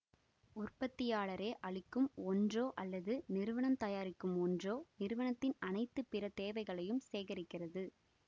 உற்பத்தியாளரே அளிக்கும் ஒன்றோ அல்லது நிறுவனம் தயாரிக்கும் ஒன்றோ நிறுவனத்தின் அனைத்து பிற தேவைகளையும் சேகரிக்கிறது